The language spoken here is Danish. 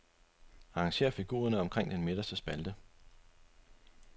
Arrangér figurerne omkring den midterste spalte.